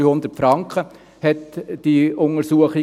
300 Franken kostete die Untersuchung.